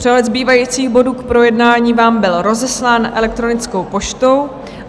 Přehled zbývajících bodů k projednání vám byl rozeslán elektronickou poštou.